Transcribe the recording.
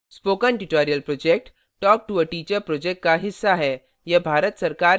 spoken tutorial project talktoa teacher project का हिस्सा है